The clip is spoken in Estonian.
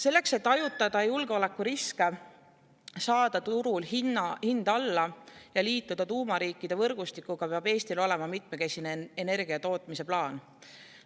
" Selleks, et hajutada julgeolekuriske, saada turul hind alla ja liituda tuumariikide võrgustikuga, peab Eestil olema mitmekesine energia tootmise plaan.